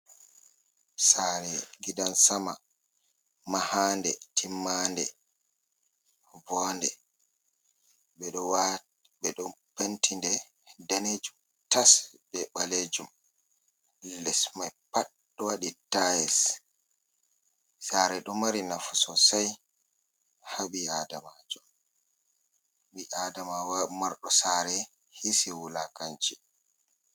Sare gidan Sama, mahande timmande. Voonde ɓeɗo wati beɗo Pentinde danejum tas be ɓalejum. Les mai Pat ɗo waɗi tayis. Sare ɗo mari nafu sosai ha ɓi-Adamajo, ɓi Adama wa marɗo Sare hisi wulakanci.